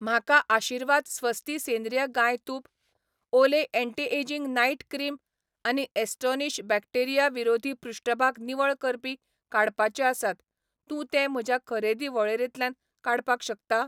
म्हाका आशीर्वाद स्वस्ति सेंद्रीय गाय तूप, ओले एंटी एजिंग नाईट क्रीम आनी ॲस्टोनिश बॅक्टेरिया विरोधी पृष्ठभाग निवळ करपी काडपाचे आसात, तूं ते म्हज्या खरेदी वळेरेंतल्यान काडपाक शकता?